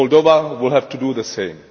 Moldova will have to do the same.